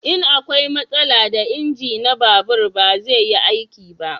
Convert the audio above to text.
In akwai matsala da inji na babur ba zai yi aiki ba